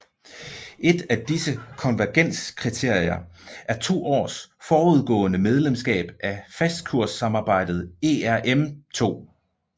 Et af disse konvergenskriterier er to års forudgående medlemskab af fastkurssamarbejdet ERM II